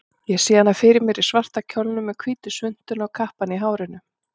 Sá hana fyrir mér í svarta kjólnum, með hvítu svuntuna og kappann í hárinu.